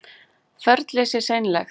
Ferlið sé seinlegt